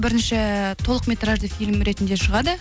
бірінші э толық метражды фильм ретінде шығады